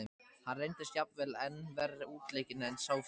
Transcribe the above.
Hann reyndist jafnvel enn verr útleikinn en sá fyrri.